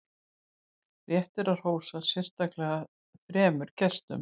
rétt er að hrósa sérstaklega þremur gestum